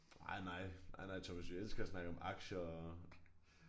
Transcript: Nej nej. Nej nej Thomas vi elsker at snakke om aktier og